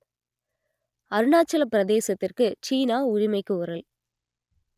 அருணாச்சலப் பிரதேசத்திற்கு சீனா உரிமை கோரல்